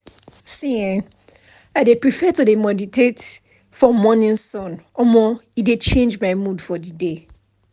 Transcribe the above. see[um]i prefer to dey meditate for morning sun um e dey charge my mood for the day